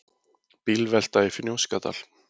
Bílvelta í Fnjóskadal